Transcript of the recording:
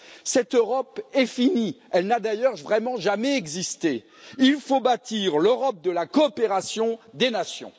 Cette Europe est finie, elle n'a d'ailleurs vraiment jamais existé. Il faut bâtir l'Europe de la coopération des nations.